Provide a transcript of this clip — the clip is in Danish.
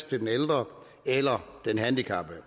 den ældre eller den handicappede